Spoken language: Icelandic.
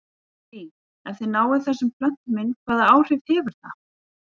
Lillý: Ef þið náið þessum plöntum inn, hvaða áhrif hefur það?